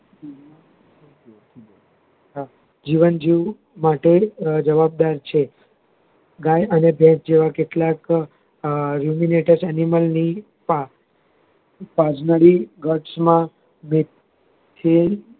જીવન જીવવું માટે જવાબદાર છે ગાય અને ભેંસ જેવા કેટલાક Animal ની તાજબરી ઘટ માં બેક છે